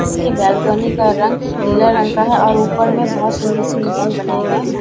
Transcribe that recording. इसके बालकनी का रंग नीला रंग का हैं और ऊपर में बहुत सुंदर से डिज़ाइन बनाये गए हैं।